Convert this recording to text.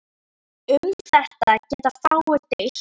Um þetta geta fáir deilt.